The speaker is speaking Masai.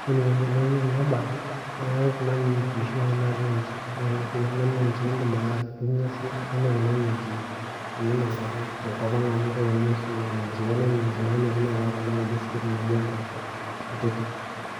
Ore enaikoni teneuni kuna babe, naa keetae kuna miingi oshi taata naatiu nji. Naa ore kuna miingi indim sii atuuno kuna miingi oleng' tenkop ang' amu keuni oshi miingi. Keetae miingi naanyori neetae kuna kulie naijo sikitok naaijo mpoosho kutitik.